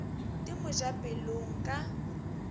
di mo ja pelong ka